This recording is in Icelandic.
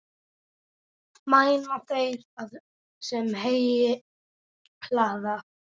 Mæna þeir, sem heyi hlaða.